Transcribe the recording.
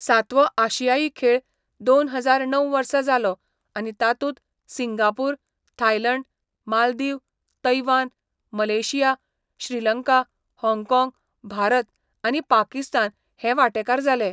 सातवो आशियाई खेळ दोन हजार णव वर्सा जालो आनी तातूंत Singapore, Thailand, Maldives, Taiwan, Malaysia, Sri Lanka, हाँगकाँग, भारत, आनी पाकिस्तान हे वांटेकार जाले.